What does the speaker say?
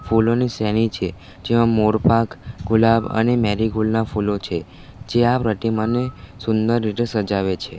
ફૂલોની સેની છે જેમા મોરપાક ગુલાબ અને મેરીગોલ્ડ ના ફૂલો છે જ્યાં પ્રતિ મને સુંદર રીતે સજાવે છે.